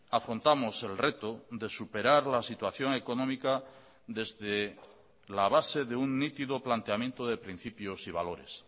afrontamos el reto de superar la situación económica desde la base de un nítido planteamiento de principios y valores